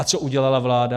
A co udělala vláda?